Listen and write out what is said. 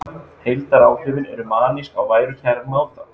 Heildaráhrifin eru manísk á værukæran máta